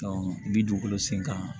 bi dugukolo sen kan